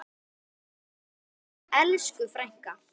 Sértu kært kvödd, elsku frænka.